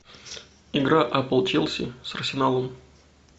игра апл челси с арсеналом